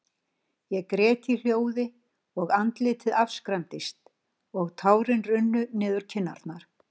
Ég grét í hljóði, og andlitið afskræmdist, og tárin runnu niður kinnarnar.